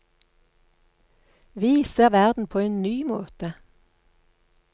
Vi ser verden på en ny måte.